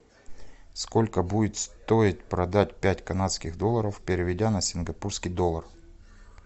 сколько будет стоить продать пять канадских долларов переведя на сингапурский доллар